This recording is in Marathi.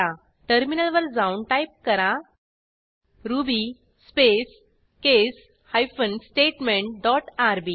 टर्मिनलवर जाऊन टाईप करा ruby space case hyphen statement dot RB